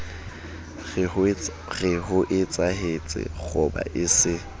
re hoetsahetse kgoba e se